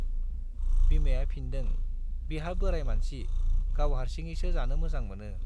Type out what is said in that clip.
बिमाया फिनदों, बिहा बोराइ मानसि, गाव हार्सिङैसो जानो मोजां मोनो।